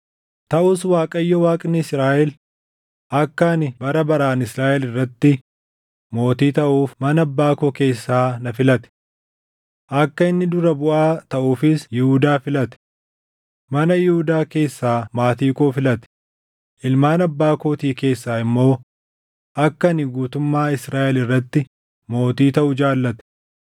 “Taʼus Waaqayyo, Waaqni Israaʼel akka ani bara baraan Israaʼel irratti mootii taʼuuf mana abbaa koo keessaa na filate. Akka inni dura buʼaa taʼuufis Yihuudaa filate; mana Yihuudaa keessaa maatii koo filate; ilmaan abbaa kootii keessaa immoo akka ani guutummaa Israaʼel irratti mootii taʼu jaallate.